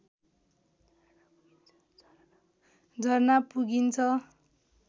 झरना पुगिन्छ